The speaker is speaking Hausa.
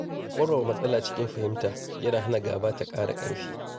Warware matsala cikin fahimta yana hana gaba ta ƙara ƙarfi.